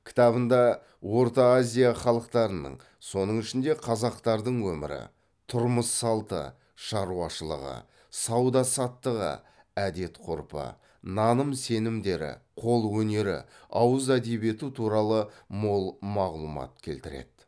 кітабында орта азия халықтарының соның ішінде қазақтардың өмірі тұрмыс салты шаруашылығы сауда саттығы әдет ғұрпы наным сенімдері қолөнері ауыз әдебиеті туралы мол мағлұлмат келтіреді